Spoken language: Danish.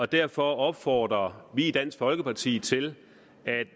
derfor opfordrer vi i dansk folkeparti til